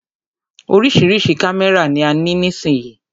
Oríṣiríṣi kámẹ́rà ni a ní nísìyí.